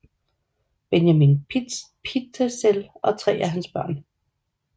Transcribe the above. Benjamin Pitezel og tre af hans børn